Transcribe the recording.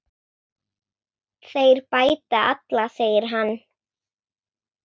Þeir bæta alla, segir hann.